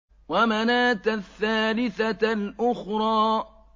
وَمَنَاةَ الثَّالِثَةَ الْأُخْرَىٰ